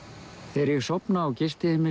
þegar ég sofna á gistiheimilinu